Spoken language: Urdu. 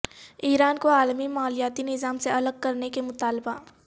ایران کو عالمی مالیاتی نظام سےالگ کرنے کے مطالبہ